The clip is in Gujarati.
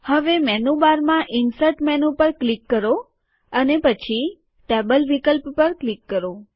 હવે મેનુબારમાં ઇન્સર્ટ મેનુ પર ક્લિક કરો અને પછી ટેબલ વિકલ્પ પર ક્લિક કરો